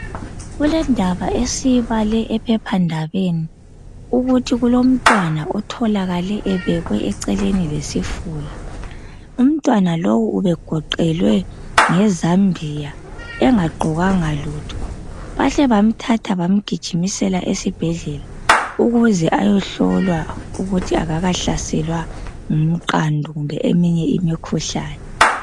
Kulendaba esiyibale ephephandabeni ukuthi kulomntwana otholakale ebekwe eceleni lesifula. Umntwana lowu ubegoqelwe ngezambia engagqokanga lutho. Bahle bamthatha bamgijimisela esibhedlela ukuze ayehlolwa ukuthi akakahlaselwa ngumqando kumbe eminye imikhuhlane.